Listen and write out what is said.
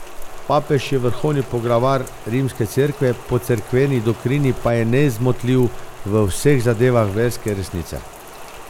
Papež je vrhovni poglavar rimske Cerkve, po cerkveni doktrini pa je nezmotljiv v vseh zadevah verske resnice.